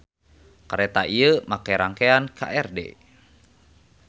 Kareta ieu make rangkean KRD.